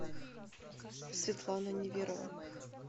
светлана неверова